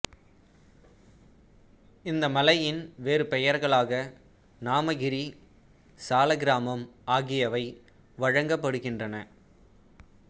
இந்த மலையின் வேறு பெயர்களாக நாமகிரி சாலக்கிராமம் ஆகியவை வழங்கப்படுகின்றன